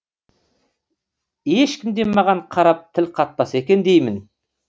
ешкім де маған қарап тіл қатпаса екен деймін